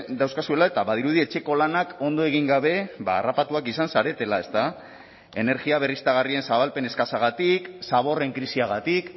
dauzkazuela eta badirudi etxeko lanak ondo egin gabe harrapatuak izan zaretela energia berriztagarrien zabalpen eskasagatik zaborren krisiagatik